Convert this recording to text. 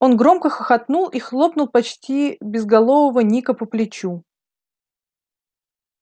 он громко хохотнул и хлопнул почти безголового ника по плечу